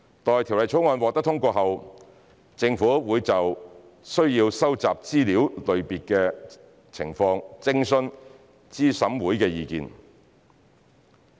待《條例草案》獲通過後，政府會就須收集的資料類別情況徵詢資審會的意見。